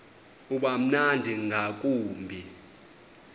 uba mnandi ngakumbi